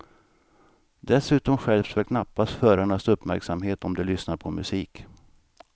Dessutom skärps väl knappast förarnas uppmärksamhet om de lyssnar på musik.